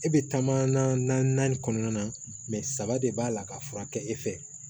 E bɛ taama na kɔnɔna na mɛ saba de b'a la ka furakɛ e fɛ